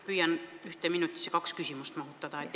Püüan ühte minutisse kaks küsimust mahutada.